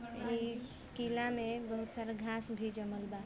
ए किला में बहुत सारा घास भी जमल बा